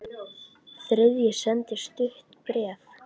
Þriðji sendi stutt bréf